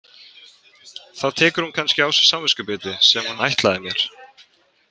Þá tekur hún kannski á sig samviskubitið sem hún ætlaði mér.